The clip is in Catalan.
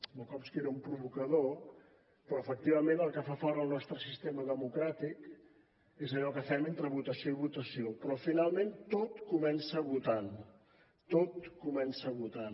bukowski era un provocador però efectivament el que fa fort el nostre sistema democràtic és allò que fem entre votació i votació però finalment tot comença votant tot comença votant